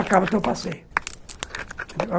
Acaba teu passeio.